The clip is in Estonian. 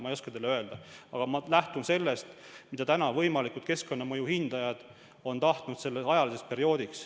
Ma ei oska teile öelda, aga ma lähtun sellest perioodist, mida täna on võimalikud keskkonnamõju hindajad tahtnud.